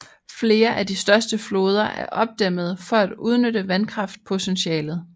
Flere af de største floder er opdæmmede for at udnytte vandkraftpotentialet